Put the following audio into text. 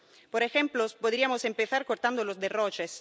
Por ejemplo, podríamos empezar acabando con los derroches.